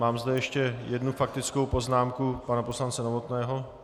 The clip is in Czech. Mám zde ještě jednu faktickou poznámku pana poslance Novotného.